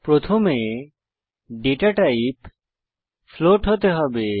প্রথমে data type float হতে হবে